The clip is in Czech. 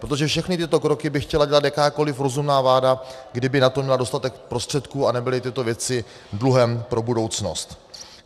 Protože všechny tyto kroky by chtěla dělat jakákoliv rozumná vláda, kdyby na to měla dostatek prostředků a nebyly tyto věci dluhem pro budoucnost.